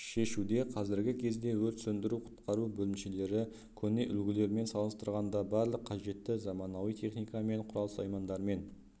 шешуде қазіргі кезде өрт сөндіру-құтқару бөлімшелері көне үлгілермен салыстырғанда барлық қажетті заманауи техника мен құрал-саймандармен